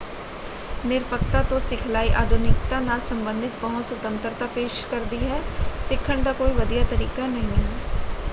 ਨਿਰਪੱਖਤਾ ਤੋਂ ਸਿਖਲਾਈ ਅਧੁਨਿਕਤਾ ਨਾਲ ਸੰਬੰਧਿਤ ਪਹੁੰਚ ਸੁਤੰਤਰਤਾ ਪੇਸ਼ ਕਰਦੀ ਹੈ। ਸਿੱਖਣ ਦਾ ਕੋਈ ਵਧੀਆ ਤਰੀਕਾ ਨਹੀਂ ਹੈ।